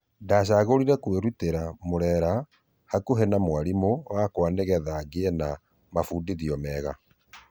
Ndachagũrire kwĩrutĩra murera hakuhe na mwarimũ wakwa nĩgetha ngĩe mafundithio mega.